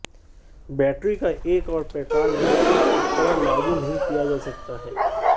battery का एक और प्रकार में इस उपकरण लागू नहीं किया जा सकता है